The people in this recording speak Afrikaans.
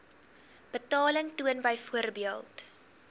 betaling toon byvoorbeeld